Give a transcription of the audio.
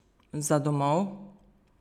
Za domov?